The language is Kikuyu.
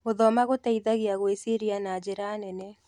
Gũthoma gũteithagia gwĩciria na njĩra nene.